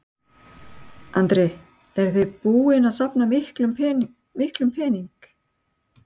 Andri: Eruð þið búin að safna miklum pening?